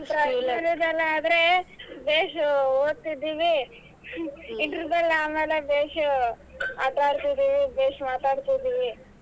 Primary ದಲ್ಲಾದರೆ ಬೇಷ್ ಓದತಿದಿವಿ ಆಮೇಲೆ ಬೇಷ್ ಆಟಾ ಆಡತಿದಿವಿ ಬೇಷ್ ಮಾತಾಡ್ತಿದೀವಿ.